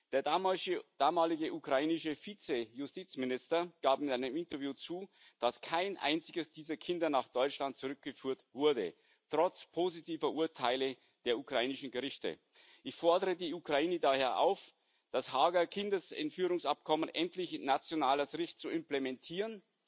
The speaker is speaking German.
Der damalige ukrainische Vize Justizminister gab in einem Interview zu, dass kein einziges dieser Kinder nach Deutschland zurückgeführt wurde trotz positiver Urteile der ukrainischen Gerichte. Ich fordere die Ukraine daher auf, das Haager Kindesentführungsübereinkommen endlich in nationales Recht zu implementieren